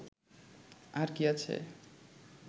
আর কী আছে